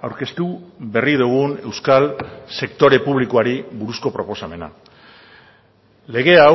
aurkeztu berri dugun euskal sektore publikoari buruzko proposamena lege hau